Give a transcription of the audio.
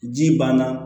Ji banna